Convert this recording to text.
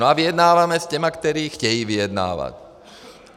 No a vyjednáváme s těmi, kteří chtějí vyjednávat.